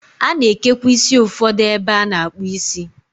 A na-ekekwa isi ụfọdụ ebe a na-akpụ isi.